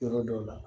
Yɔrɔ dɔw la